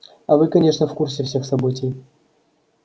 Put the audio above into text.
а вы конечно в курсе всех событий